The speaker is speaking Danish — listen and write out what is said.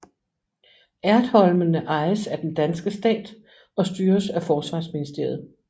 Ertholmene ejes af den danske stat og styres af Forsvarsministeriet